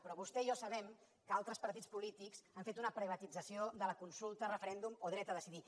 però vostè i jo sabem que altres partits polítics han fet una privatització de la consulta referèndum o dret a decidir